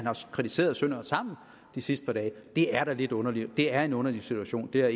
kritiseret sønder og sammen det sidste par dage det er da lidt underligt det er en underlig situation det er